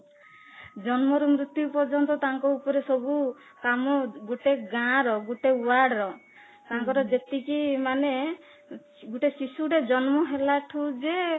ଜନ୍ମରୁ ମୃତ୍ୟୁ ପର୍ଯ୍ୟନ୍ତ ତାଙ୍କ ଉପରେ ସବୁ କାମ ଗୋଟେ ଗାଁ ର ଗୋଟେ ୱାର୍ଡ ର ତାଙ୍କର ଯେତିକି ମାନେ ଗୋଟେ ଶିଶୁ ଟେ ଜନ୍ମ ହେଲା ଠୁ ଯେ